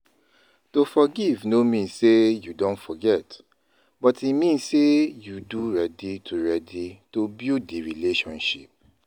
To forgive no mean sey you don forget but e mean sey you do ready to ready to build di relationship